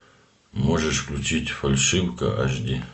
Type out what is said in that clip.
можешь включить фальшивка аш ди